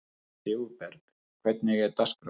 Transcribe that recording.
Sigurberg, hvernig er dagskráin?